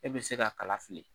E be se ka kala fili